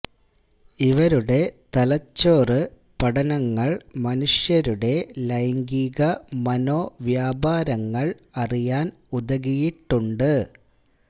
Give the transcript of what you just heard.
ഇവരുടെ തലച്ചോറ് പഠനങ്ങൾ മനുഷ്യരുടെ ലൈംഗിക മനോവ്യാപാരങ്ങൾ അറിയാൻ ഉതകിയിട്ടുണ്ട്